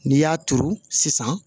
N'i y'a turu sisan